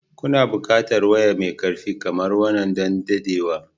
Kuna buƙatar waya mai ƙarfi kamar wannan don dadewa.